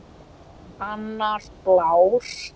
Annar blár.